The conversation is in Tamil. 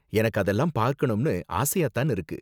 எனக்கும் அதெல்லாம் பார்க்கணும்னு ஆசையா தான் இருக்கு.